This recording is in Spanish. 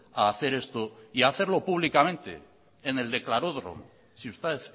a hacer esto y hacerlo públicamente en el declaródromo si usted